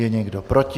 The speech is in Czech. Je někdo proti?